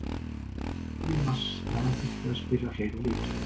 Ég sagði í mars að hann þyrfti að spila fleiri leiki.